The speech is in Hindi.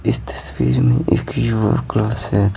इस तस्वीर में एक योगा क्लास है।